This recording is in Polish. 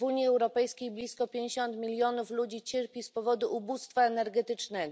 W Unii Europejskiej blisko pięćdziesiąt milionów ludzi cierpi z powodu ubóstwa energetycznego.